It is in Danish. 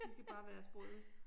De skal bare være sprøde